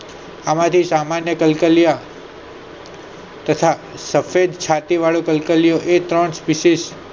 આમાંથી સામાન્ય કલ્કાલિયા તથા સફેદછાતી વાળું કલ્કલીયુ એ ત્રણ વિષેશ